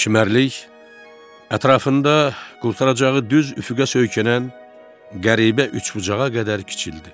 Çimərlik ətrafında qurtaracağı düz üfüqə söykənən qəribə üçbucağa qədər kiçildi.